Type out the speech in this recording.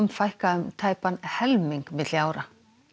fækka um tæpan helming milli ára